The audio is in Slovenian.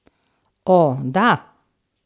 O, da!